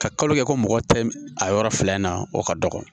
Ka kalo kɛ ko mɔgɔ tɛ a yɔrɔ fila in na o ka dɔgɔ